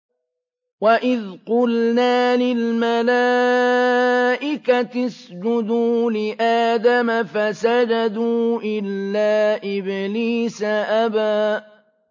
وَإِذْ قُلْنَا لِلْمَلَائِكَةِ اسْجُدُوا لِآدَمَ فَسَجَدُوا إِلَّا إِبْلِيسَ أَبَىٰ